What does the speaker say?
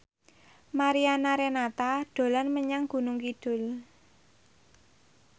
Mariana Renata dolan menyang Gunung Kidul